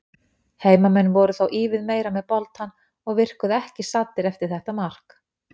Heimamenn voru þó ívið meira með boltann og virkuðu ekki saddir eftir þetta mark.